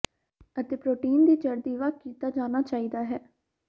ਅਤੇ ਪ੍ਰੋਟੀਨ ਦੀ ਜ਼ਰਦੀ ਵੱਖ ਕੀਤਾ ਜਾਣਾ ਚਾਹੀਦਾ ਹੈ